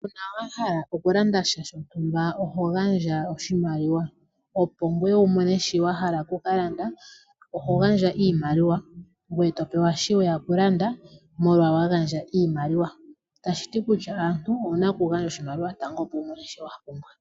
Uuna wa hala okulanda sha shontumba oho gandja oshimaliwa opo ngoye wu mone shi wa hala oku ka landa ,oho gandja iimaliwa ngoye etopewa shi weya okulanda ,molwa wa gandja iimaliwa. Tashiti kutya aamuntu owuna okugandja oshimaliwa tango opo wu mone sho wa pumbwa.